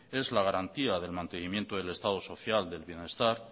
es la garantía del mantenimiento del estado social del bienestar